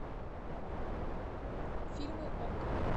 фильмы окко